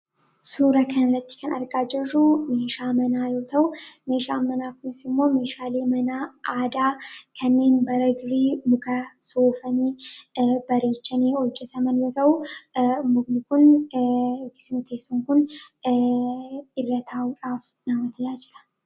Suuraa kanarratti kan argaa jirru meeshaa manaa yoo ta'u, meeshaan manaa kunis immoo meeshaalee manaa aadaa kanneen bara durii muka soofamee bareechame irraa hojjatame yoo ta'u, mukni kun irra taa'uudhaaf kan fayyadudha.